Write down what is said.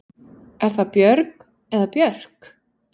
Er það Björg eða Björk?